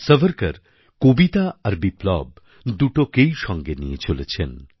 সাভারকর কবিতা আর বিপ্লব দুটোকেই সঙ্গে নিয়ে চলেছেন